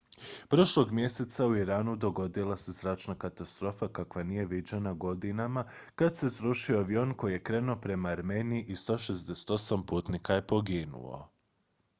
prošlog mjeseca u iranu dogodila se zračna katastrofa kakva nije viđena godinama kad se srušio avion koji je krenuo prema armeniji i 168 putnika je poginulo